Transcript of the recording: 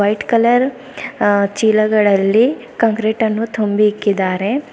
White colour ಆ ಚೀಲಗಳಲ್ಲಿ ಕಾಂಕ್ರೀಟನ್ನು ತುಂಬಿ ಇಕ್ಕಿದ್ದಾರೆ.